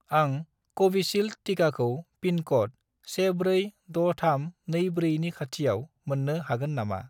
आं कविसिल्द टिकाखौ पिन क'ड 146324 नि खाथिआव मोन्नो हागोन नामा